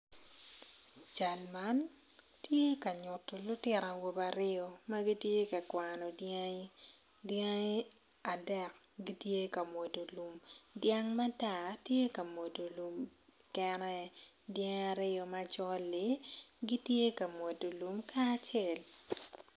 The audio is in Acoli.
Cal man tye ka nyuto lutino awobe aryo ma gitye ka kwaano dyangi dyangi adek gitye kamwodo lum dyang matar tye kamwodo lum kene dyangi aryo macoli gitye kamwodo lum kacel